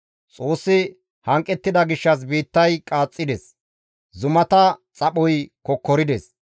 Xoossi hanqettida gishshas biittay qaaxxides; zumata xaphoy kokkorides.